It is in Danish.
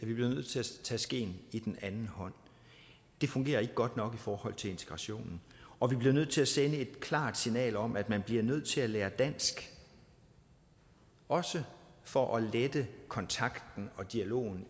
nødt til at tage skeen i den anden hånd det fungerer ikke godt nok i forhold til integrationen og vi bliver nødt til at sende et klart signal om at man bliver nødt til at lære dansk også for at lette kontakten og dialogen